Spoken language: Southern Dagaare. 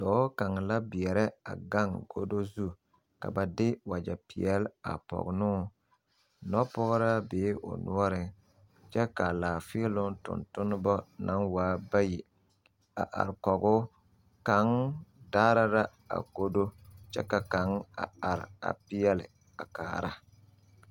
Dɔɔ kaŋ la beɛrɛ a gaŋ godo zu ka ba de wagyɛpeɛle a pɔge ne o nɔpɔgraa bee o noɔreŋ kyɛ k,a laafeeloŋ tontoneba naŋ waa bayi a are kɔge o kaŋ daara la a godo kyɛ ka kaŋ a are a peɛle a kaara.